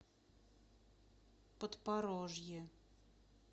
подпорожье